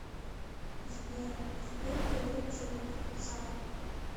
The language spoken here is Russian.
сбер сколько лет живут в цар